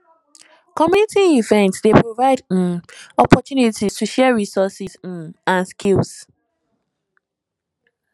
community events dey provide um opportunities to share resources um and skills